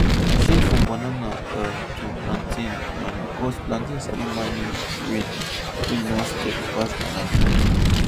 i change from banana um to um plantain um because plantain sabi manage rain wey no steady pass banana